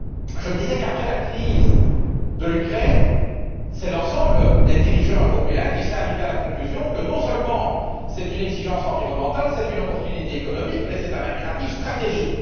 Je me disais qu'après la crise de l'Ukraine, c'est l'ensemble des dirigeants européens qui seraient arrivés à la conclusion qu'il s'agit non seulement d'une exigence environnementale et d'une opportunité économique, mais aussi d'un impératif stratégique.